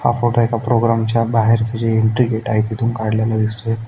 हा फोटो एका प्रोग्राम च्या बाहेरच जे एन्ट्री गेट आहे तिथून काढलेला दिसतोय.